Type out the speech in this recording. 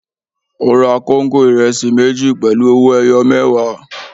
Ó ra kóńgò ìrẹsì méjì pẹ̀lú owó-ẹyọ mẹẹwa.